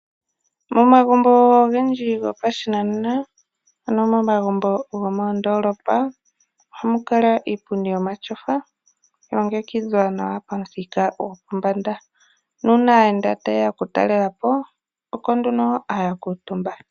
Momagumbo ogendji gopashinanena ano momagumbo gomoondolopa ohamu kala iipundi yomatyofa yalongekidhwa nawa pamuthika gopombanda. Uuna aayenda tayeya okutalelapo oko haya kuutumba.